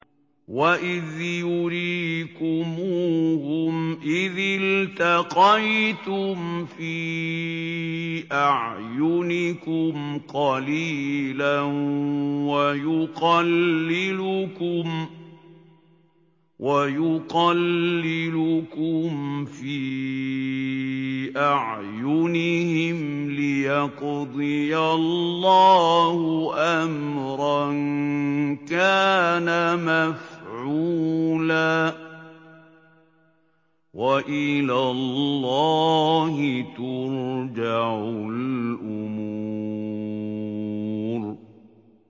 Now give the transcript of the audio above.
وَإِذْ يُرِيكُمُوهُمْ إِذِ الْتَقَيْتُمْ فِي أَعْيُنِكُمْ قَلِيلًا وَيُقَلِّلُكُمْ فِي أَعْيُنِهِمْ لِيَقْضِيَ اللَّهُ أَمْرًا كَانَ مَفْعُولًا ۗ وَإِلَى اللَّهِ تُرْجَعُ الْأُمُورُ